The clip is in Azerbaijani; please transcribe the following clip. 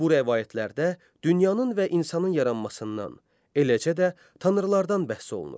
Bu rəvayətlərdə dünyanın və insanın yaranmasından, eləcə də tanrılardan bəhs olunur.